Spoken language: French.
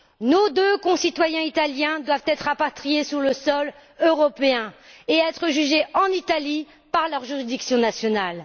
Nos deux concitoyens italiens doivent être rapatriés sur le sol européen et être jugés en Italie par leurs juridictions nationales.